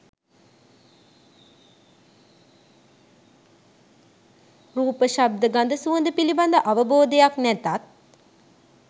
රූප, ශබ්ද, ගඳ සුවඳ පිළිබඳ අවබෝධයක් නැතත්